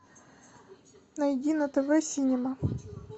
найди на тв синема